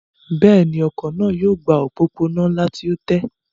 Bẹ́ẹ̀ni, ọkọ̀ náà yóò gba òpópónà ńlá tí ó tẹ́